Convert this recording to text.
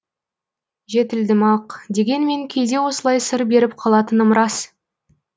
жетілдім ақ дегенмен кейде осылай сыр беріп қалатыным рас